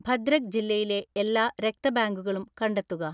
ഭദ്രക് ജില്ലയിലെ എല്ലാ രക്ത ബാങ്കുകളും കണ്ടെത്തുക.